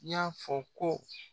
y'a fɔ ko